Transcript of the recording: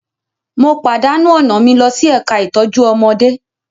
Mo pàdánù ọ̀nà mi lọ sí ẹ̀ka ìtọ́jú ọmọdé